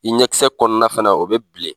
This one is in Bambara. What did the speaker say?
I ɲɛkisɛ kɔnɔna fana, o be bilen.